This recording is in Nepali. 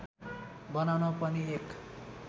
बनाउन पनि एक